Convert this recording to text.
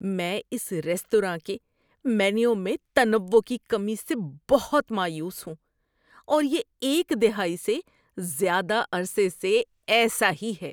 میں اس ریستوراں کے مینو میں تنوع کی کمی سے بہت مایوس ہوں اور یہ ایک دہائی سے زیادہ عرصے سے ایسا ہی ہے۔